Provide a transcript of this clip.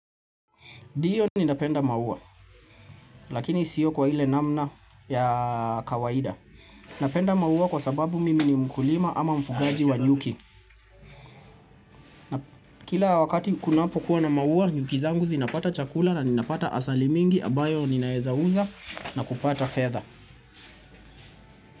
Ndio ninapenda maua, lakini siyo kwa ile namna ya kawaida. Napenda maua kwa sababu mimi ni mkulima ama mfugaji wa nyuki. Kila wakati kunapo kuwa na maua, nyuki zangu zinapata chakula na ninapata asali mingi ambayo ninaweza uza na kupata fedha.